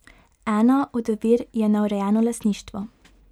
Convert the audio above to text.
Ena od ovir je neurejeno lastništvo.